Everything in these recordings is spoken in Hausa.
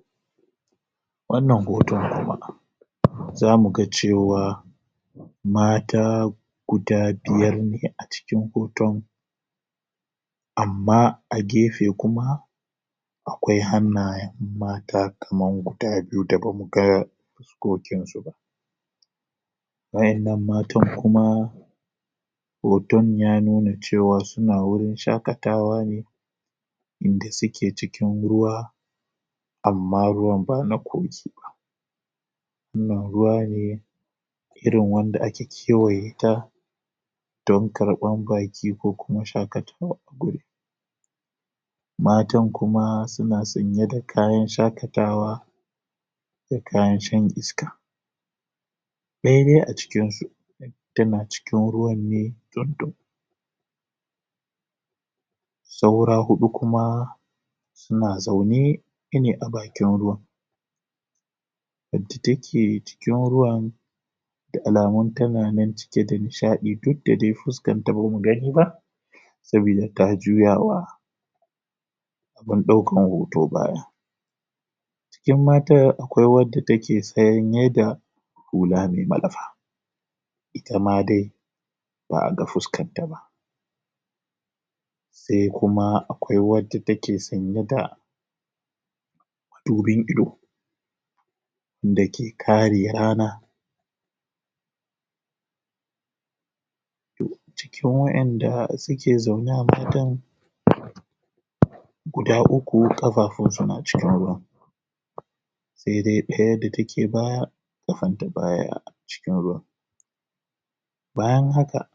a wannan hoto za muga cewa mata guda biyar ne a cikin hoton amma a gefe kuma akwai hannayen mata kaman guda biyu da ba muga fuskokinsu ba waƴannan matan kuma hoton ya nuna cewa suna wurin shaƙatawa ne inda suke cikin ruwa amma ruwan ba na kogi ba wannan ruwa ne irin wanda ake kewaye ta don karɓan baƙi ko kuma shaƙatawa matan kuma suna sanye da kayan shaƙatawa da kayan shan iska ɗaya dai a cikinsu tana cikin ruwan ne tsundum saura huɗu kuma suna zaune ne a bakin ruwa wadda take cikin ruwan da alamun tana nan cike da nishaɗi duk da dai fuskarta bamu gani ba sabida ta juya wa mai ɗaukar hoto baya cikin mata akwai wadda take tsayin yadda hula mai malafa itama dai ba'a ga fuskarta ba sai kuma akwai wata wacce take sanye da dubin ido dake kare rana cikin waƴanda suke zaune a hakan guda uku ƙafafunsa na shiga ruwa saidai ɗaya da take baya ƙafanta baya cikin ruwan bayan haka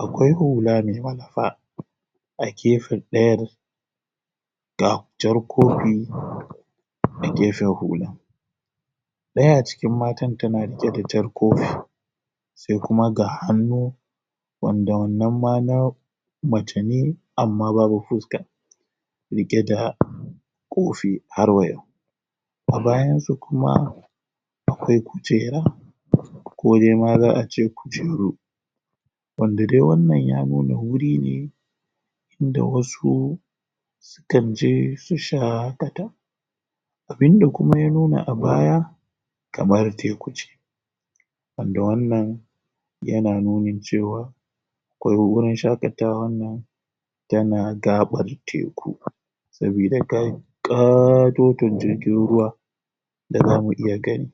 akwai hula mai malafa a gefen ɗayar da jar kofi a gefen hula ɗaya a cikin matan tana riƙe da jar kofi sai kuma ga hannu wanda wannan ma na mace ne amma babu fuska riƙe da kofi har wa yau a bayansa kuma akwai kujera kodaima za'a ce kujeru wanda dai wannan ya nuna wuri ne da wasu kanje su shaƙata abinda kuma ya nuna a baya kamar teku ce wanda wannan yana nuni cewar akwai wurin shaƙatawar nan tana gaar teku sabida dai ƙatoton jirgin ruwa da bamu iya gani